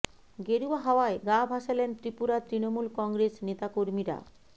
গেরুয়া হাওয়ায় গা ভাসালেন ত্রিপুরার তৃণমূল কংগ্রেস নেতা কর্মীরা